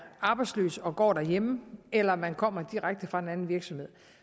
arbejdsløs og går derhjemme eller om man kommer direkte fra en anden virksomhed